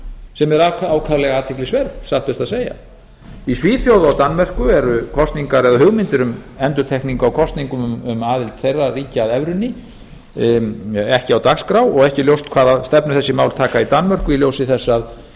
sem er ákaflega athyglisvert satt best að segja í svíþjóð og danmörku eru kosningar eða hugmyndir um endurtekningu á kosningum um aðild þeirra ríkja að evrunni ekki á dagskrá og ekki ljóst hvaða stefnu þessi mál taka í danmörku í ljósi þess að